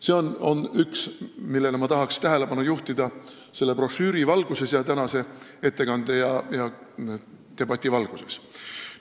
See on üks asi, millele ma tahaks tähelepanu juhtida selle brošüüri, tänase ettekande ja debati valguses.